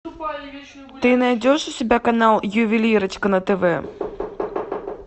ты найдешь у себя канал ювелирочка на тв